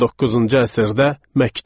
19-cu əsrdə məktəb.